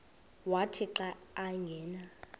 wathi xa angena